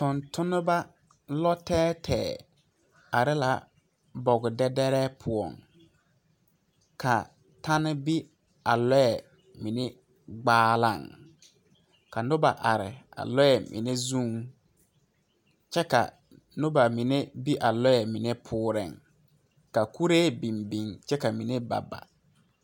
Tontonnema lɔ tɛɛtɛɛ are la boge dɛdɛrɛɛ poɔŋ ka tɛne be a lɔɛ mine gbaaliŋ ka noba are a lɔɛ mine zuŋ kyɛ ka noba mine be a lɔɛ mine poɔreŋ ka kuree biŋ biŋ kyɛ ka mine ba ba.